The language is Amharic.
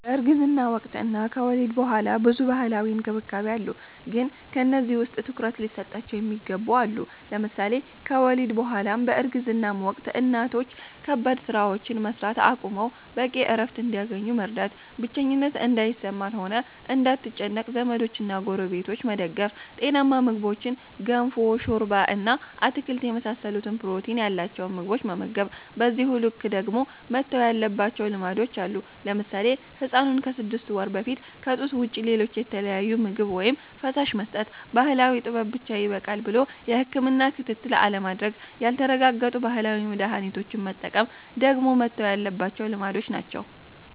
በእርግዝና ወቅት እና ከወሊድ ቡኃላ ብዙ ባህላዊ እንክብካቤ አሉ ግን ከነዚህ ውስጥ ትኩረት ሊሰጣቸው የሚገቡ አሉ። ለምሳሌ ከወሊድ ቡ በኃላም በእርግዝናም ወቅት እናቶች ከባባድ ስራዎችን መስራት አቁመው በቂ እረፍት እንዲያገኙ መርዳት፣ ብቸኝነት እንዳይሰማት ሆነ እንዳትጨነቅ ዘመዶችና ጎረቤቶች መደገፍ፣ ጤናማ ምግቦችን ገንፎ፣ ሾርባ እና አትክልት የመሳሰሉትን ፕሮቲን ያላቸውን ምግቦች መመገብ። በዚሁ ልክ ደግሞ መተው ያለባቸው ልማዶች አሉ። ለምሳሌ ህፃኑን ከስድስት ወር በፊት ከጡት ውጭ ሌሎች የተለያዩ ምግብ ወይም ፈሳሽ መስጠት፣ ባህላዊ ጥበብ ብቻ ይበቃል ብሎ የህክምና ክትትል አለማድረግ፣ ያልተረጋገጡ ባህላዊ መድሀኒቶችን መጠቀም ደግሞ መተው ያለባቸው ልማዶች ናቸው።